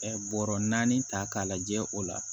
Ɛ bɔrɔ naani ta k'a lajɛ o la